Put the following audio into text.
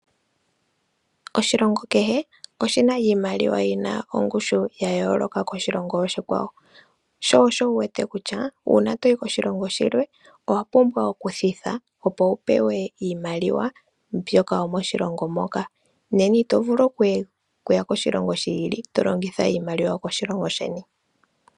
Oshilongo kehe oshina iimaliwa yina ongushu yayooloka koshilongo oshikwawo, sho osho wu wete kutya uuna toyi koshilongo shilwe owapumbwa okuthitha opo wupewe iimaliwa mbyoka yomoshilongo moka, nena Ito vulu okuya koshilongo shi ili tolongitha iimaliwa yokoshilongo sheni.